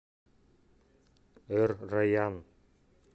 эр райян